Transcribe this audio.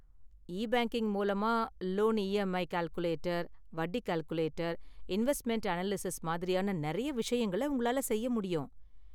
E-banking மூலமா loan EMI calculator, வட்டி calculator, investment analysis மாதிரியான நிறைய விஷயங்கள உங்களால செய்ய முடியும்.